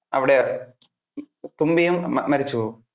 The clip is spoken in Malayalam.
അവിടെ തുമ്പിയും അഹ് മരിച്ചു പോകും.